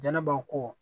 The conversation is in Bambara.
Jɛnɛba ko